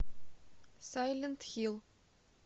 сайлент хилл